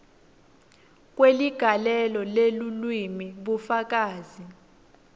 kweligalelo lelulwimi bufakazi